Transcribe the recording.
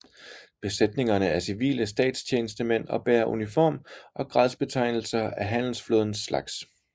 Besætningerne er civile statstjenestemænd og bærer uniform og gradsbetegnelser af handelsflådens slags